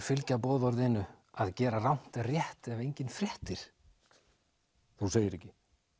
fylgja boðorðinu að gera rangt rétt ef enginn fréttir þú segir ekki